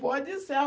Pó de